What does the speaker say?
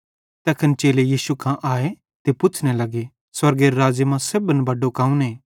तैखन चेले यीशु कां आए ते पुच्छ़ने लग्गे स्वर्गेरे राज़्ज़े मां सेब्भन करां बड्डो कौने